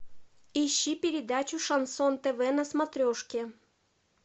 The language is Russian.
ищи передачу шансон тв на смотрешке